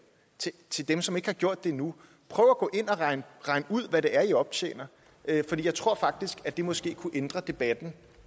dem som ikke har gjort det endnu prøv at gå ind og regn ud hvad det er i optjener for jeg tror faktisk at det måske kunne ændre debatten